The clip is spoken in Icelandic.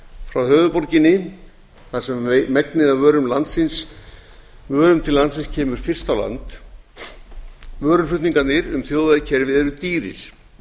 frá höfuðborginni þar sem megnið af vörum til landsins kemur fyrst á land vöruflutningarnir um þjóðvegakerfið eru dýrir